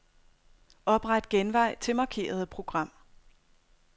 Opret genvej til markerede program.